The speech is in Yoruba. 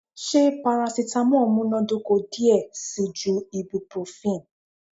Ṣe paracetamol munadoko diẹ sii ju ibuprofen?